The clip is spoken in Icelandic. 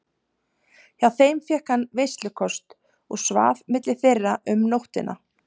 Hjá þeim fékk hann veislukost og svaf milli þeirra um nóttina.